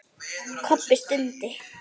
Kobbi stundi.